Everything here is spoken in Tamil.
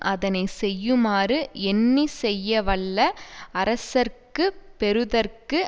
அதனை செய்யுமாறு எண்ணி செய்யவல்ல அரசர்க்கு பெறுதற்கு